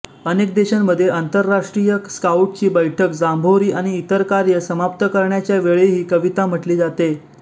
अनेक देशांमध्ये आंतरराष्ट्रीय स्काऊटची बैठक जांबोरी आणि इतर कार्ये समाप्त करण्याच्या वेळीही कविता म्हटली जाते